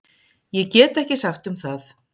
Ég get ekki sagt um það.